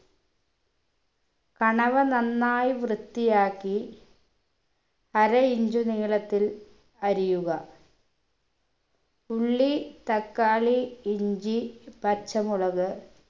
കണവ നന്നായി വൃത്തിയാക്കി അര inch നീളത്തിൽ അരിയുക ഉള്ളി തക്കാളി ഇഞ്ചി പച്ചമുളക്